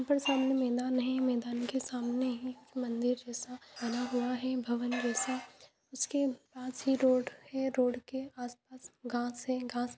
अगर सामने मिला नहीं मैदान के सामने ही मंदिर जैसा बना हुआ है भवन जैसा उसके पास ही रोड है रोड के आसपास घास है घास --